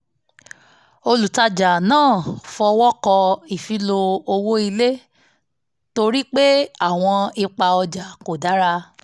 olùtajà náà fọwọ́ kọ ìfilọ́ owó ilé torí pé àwọn ipa ojà kò dára